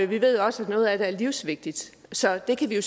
ved også at noget af den er livsvigtig så det kan vi